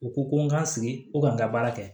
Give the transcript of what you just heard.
U ko ko n ga sigi ko ka n ka baara kɛ